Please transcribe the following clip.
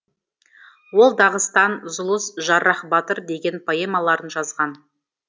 ол дағыстан зұлыс жаррах батыр деген поэмаларын жазған